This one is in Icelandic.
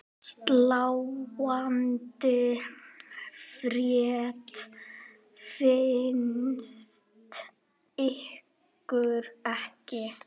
Sláandi frétt finnst ykkur ekki?